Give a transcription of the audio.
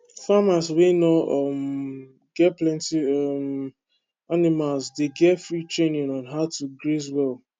farmers wey no um get plenty um animals dey get free training on how to graze well